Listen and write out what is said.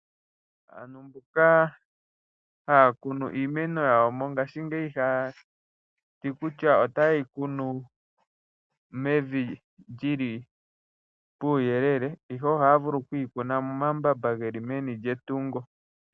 Mbonga hayakunu iimeno yawo mongashingeyi ihaya ti otaye yi kunu yili mevi puuyekeke, ihe ohaya vulu okuyi kuna momambamba geli meni lyetungo.